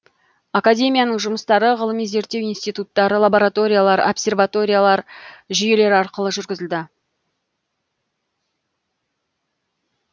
академияның жұмыстары ғылыми зерттеу институттар лабораториялар обсерваториялар жүйелері арқылы жүргізілді